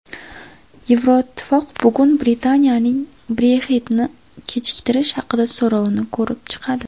Yevroittifoq bugun Britaniyaning Brexit’ni kechiktirish haqidagi so‘rovini ko‘rib chiqadi.